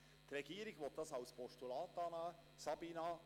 Die Regierung will die Motion als Postulat annehmen.